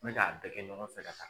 Mɛ k'a bɛɛ kɛ ɲɔgɔn fɛ ka taa